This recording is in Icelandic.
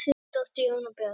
Þín dóttir, Jóna Björg.